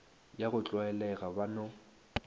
ya go tlwaelega ba no